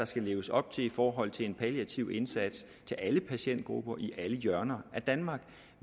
skal leves op til i forhold til en palliativ indsats til alle patientgrupper i alle hjørner af danmark